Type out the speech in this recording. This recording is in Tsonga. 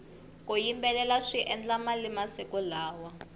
ku yimbelela swi endla mali masiku lawa